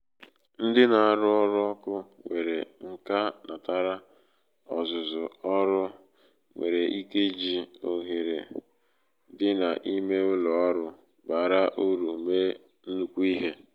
ndị na aru oru oku; nwere nka natara ọzụzụ ọrụ nwere ike iji ohere ike iji ohere dị n’ime ụlọ ọrụ bara uru mee nnukwu ihe